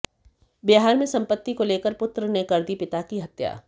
बिहार में संपत्ति को लेकर पुत्र ने कर दी पिता की हत्या